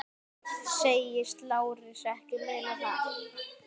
Segist Lárus ekki muna það.